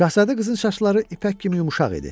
Şahzadə qızın saçları ipək kimi yumşaq idi.